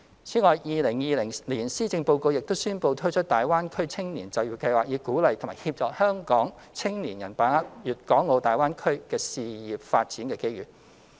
此外 ，2020 年施政報告亦宣布推出大灣區青年就業計劃，以鼓勵及協助香港青年把握粵港澳大灣區的事業發展機遇。